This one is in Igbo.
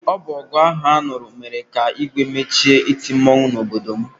Ọ bụ ọgụ ahụ a nụrụ mere ka Igwe mechie iti mmọnwụ n'obodo m.